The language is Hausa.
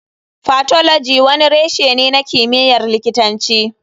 Pathology wani reshe ne na kimiyyar likitanci.